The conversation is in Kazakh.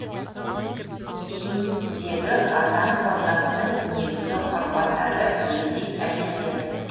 им дегі адам саудасының негізгі құрбандары езид әйелдері